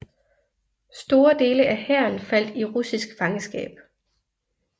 Store dele af hæren faldt i russisk fangenskab